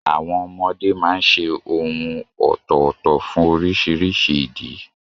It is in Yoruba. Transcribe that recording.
Àwọn ọmọdé máa ń ṣe ohùn ọ̀tọ̀ọ̀tọ̀ fún oríṣiríṣi ìdí.